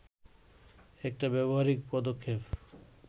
একটা ব্যবহারিক পদক্ষেপ